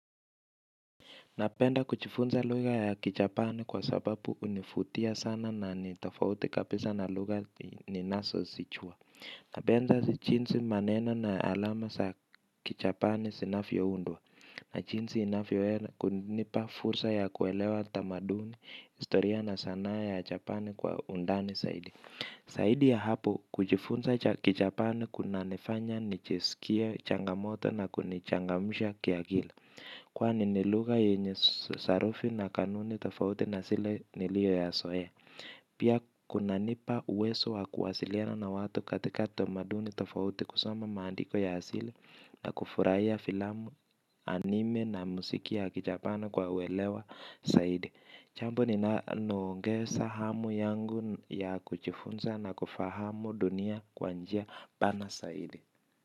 Napenda kuchifunza lugha ya kichapani kwa sababu hunifutia sana na ni tafauti kapisa na lugha ninasosichua. Napenda si chinsi maneno na alama sa kichapani sinafyoundwa. Na chinsi inafyowesa kunipa fursa ya kuelewa tamaduni historia na sanaa ya chapani kwa undani saidi. Saidi ya hapo kuchifunza kichapani kunanifanya nichiskie changamoto na kunichangamsha kiakili kwani ni lugha yenye sarufi na kanuni tofauti na sile nilioyasoea. Pia kunanipa uwezo wa kuwasiliana na watu katika tamaduni tofauti kusoma maandiko ya asili. Na kufuraia filamu, anime na msiki ya kijapana kwa uelewa saidi. Chambo ninaloongesa hamu yangu ya kuchifunza na kufahamu dunia kwa njia pana saidi.